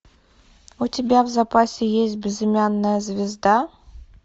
у тебя в запасе есть безымянная звезда